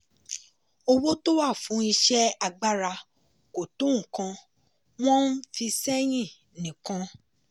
owó tó wà fún iṣẹ́ agbára kò tó nǹkan wọ́n ń fi sẹ́yìn nìkan.